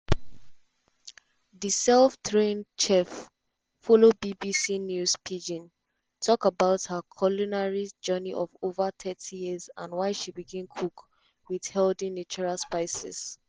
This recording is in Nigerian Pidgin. di self-trained chef follow bbc news pidgin tok about her culinary journey of ova thirty years and why she begin cook wit healthy natural spices.